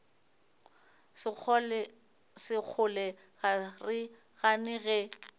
sekgole ga re gane ge